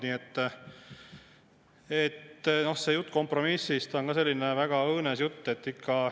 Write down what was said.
Nii et see jutt kompromissist on ka selline väga õõnes jutt.